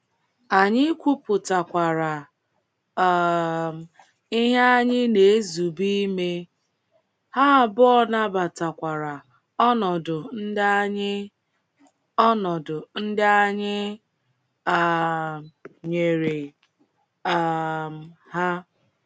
Anyị kwupụtakwara um ihe anyị na-ezube ime, ha abụọ nabatakwara ọnọdụ ndị anyị ọnọdụ ndị anyị um nyere um ha.